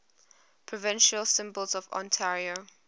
provincial symbols of ontario